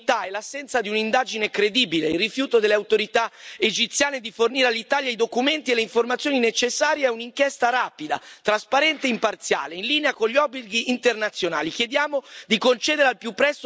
Noi denunciamo il clima di impunità e l'assenza di un'indagine credibile, il rifiuto delle autorità egiziane di fornire all'Italia i documenti e le informazioni necessarie ad un'inchiesta rapida, trasparente e imparziale, in linea con gli obblighi internazionali.